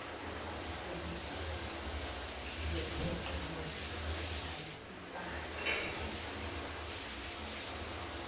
ekomidi lokuphoqelela ayisibalo